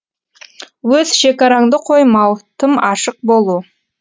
өз шекараңды қоймау тым ашық болу